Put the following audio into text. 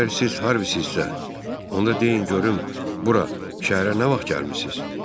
Əgər siz Harvisizsə, onda deyin görüm bura, şəhərə nə vaxt gəlmisiz?